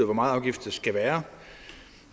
hvor meget afgift der skal være